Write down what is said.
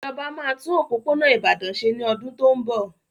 Ìjọba máa tún òpópónà Ìbàdàn ṣe ní ọdún tó ń bọ̀.